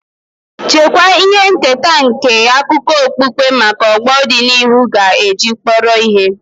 Chekwaa ihe nketa nke akụkọ okpukpe maka ọgbọ dị n'ihu ga-eji kpọrọ ihe.